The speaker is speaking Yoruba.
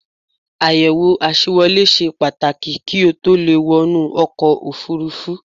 Àyẹ̀wò àṣewolé ṣe Pàtàkì kí o tó le è wọnú ọkọ̀ òfurufú